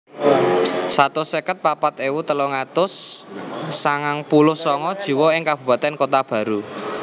Satus seket papat ewu telung atus sangang puluh sanga jiwa ing kabupatèn Kota Baru